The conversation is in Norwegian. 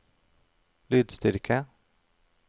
lydstyrke